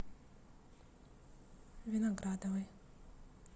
виноградовой